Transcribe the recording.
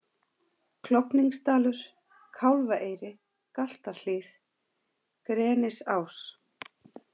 Klofningsdalur, Kálfaeyri, Galtarhlíð, Grenisás